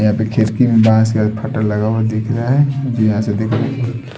यहा पे खिड़की मे बास लगा हुआ दिख रहा है यहा से दिख--